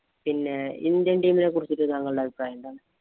പിന്നെ Indian team ഇനെ കുറിച്ചിട്ട് താങ്കളുടെ അഭിപ്രായം എന്താണ്?